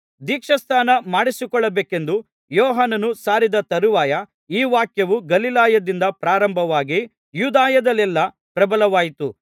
ದೀಕ್ಷಾಸ್ನಾನ ಮಾಡಿಸಿಕೊಳ್ಳಬೇಕೆಂದು ಯೋಹಾನನು ಸಾರಿದ ತರುವಾಯ ಈ ವಾಕ್ಯವು ಗಲಿಲಾಯದಿಂದ ಪ್ರಾರಂಭವಾಗಿ ಯೂದಾಯದಲ್ಲೆಲ್ಲಾ ಪ್ರಬಲವಾಯಿತು